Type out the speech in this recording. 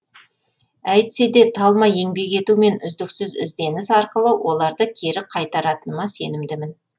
әйтсе де талмай еңбек ету мен үздіксіз ізденіс арқылы оларды кері қайтаратыныма сенімдімін